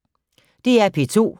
DR P2